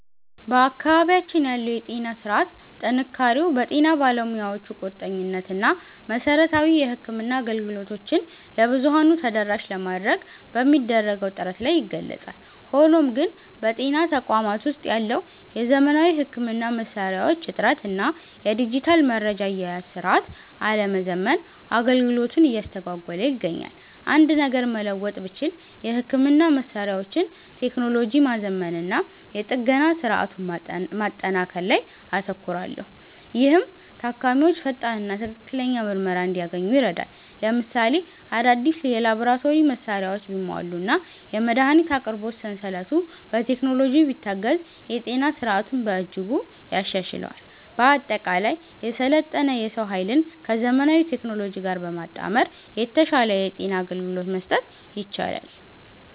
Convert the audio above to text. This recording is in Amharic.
በአካባቢያችን ያለው የጤና ሥርዓት ጥንካሬው በጤና ባለሙያዎቹ ቁርጠኝነት እና መሠረታዊ የሕክምና አገልግሎቶችን ለብዙኃኑ ተደራሽ ለማድረግ በሚደረገው ጥረት ላይ ይገለጻል። ሆኖም ግን፣ በጤና ተቋማት ውስጥ ያለው የዘመናዊ ሕክምና መሣሪያዎች እጥረት እና የዲጂታል መረጃ አያያዝ ሥርዓት አለመዘመን አገልግሎቱን እያስተጓጎለ ይገኛል። አንድ ነገር መለወጥ ብችል፣ የሕክምና መሣሪያዎችን ቴክኖሎጂ ማዘመንና የጥገና ሥርዓቱን ማጠናከር ላይ አተኩራለሁ፤ ይህም ታካሚዎች ፈጣንና ትክክለኛ ምርመራ እንዲያገኙ ይረዳል። ለምሳሌ፣ አዳዲስ የላቦራቶሪ መሣሪያዎች ቢሟሉና የመድኃኒት አቅርቦት ሰንሰለቱ በቴክኖሎጂ ቢታገዝ የጤና ሥርዓቱን በእጅጉ ያሻሽለዋል። በአጠቃላይ፣ የሰለጠነ የሰው ኃይልን ከዘመናዊ ቴክኖሎጂ ጋር በማጣመር የተሻለ የጤና አገልግሎት መስጠት ይቻላል።